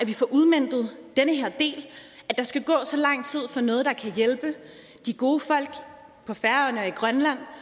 vi får udmøntet den her del at der skal gå så lang tid med noget der kan hjælpe de gode folk på færøerne og i grønland